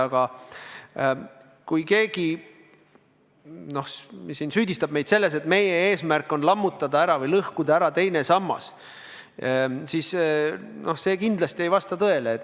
Aga kui keegi süüdistab meid selles, et meie eesmärk on lammutada või lõhkuda ära teine sammas, siis see kindlasti ei vasta tõele.